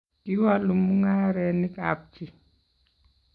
kiwolu mung'arenikab chii